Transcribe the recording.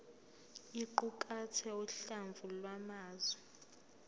iqukathe uhlamvu lwamazwi